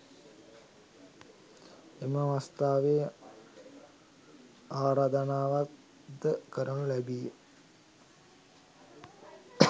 එම අවස්ථාවේ ආරාධනාවක් ද කරනු ලැබීය.